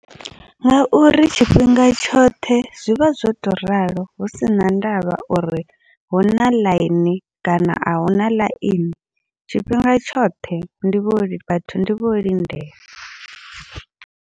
Ngauri tshifhinga tshoṱhe zwivha zwo to ralo, hu sina ndavha uri huna ḽaini kana ahuna ḽaini tshifhinga tshoṱhe ndi vho vhathu ndi vho lindela.